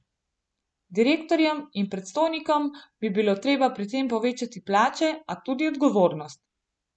Direktorjem in predstojnikom bi bilo treba pri tem povečati plače, a tudi odgovornost.